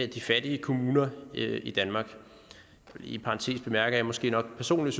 de fattige kommuner i danmark i parentes bemærket måske nok personligt